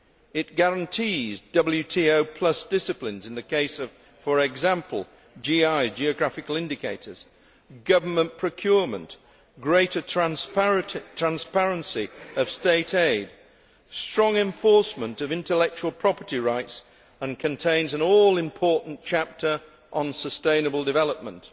It guarantees WTO plus disciplines in the case of, for example, geographical indicators, government procurement, greater transparency of state aid and strong enforcement of intellectual property rights, and contains an all important chapter on sustainable development.